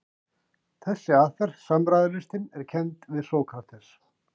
Þessi aðferð, samræðulistin, er kennd við Sókrates.